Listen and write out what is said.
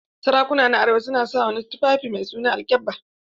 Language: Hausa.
Sarakuna na arewa na su wani tufaffi mai suna alkyabba.